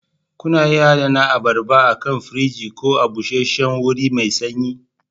Kuna iya adana abarba akan firji ko a busheshshen wuri mai sanyi